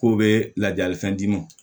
K'u bɛ ladilikan d'i ma